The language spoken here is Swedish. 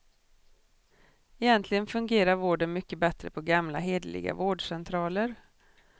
Egentligen fungerar vården mycket bättre på gamla, hederliga vårdcentraler.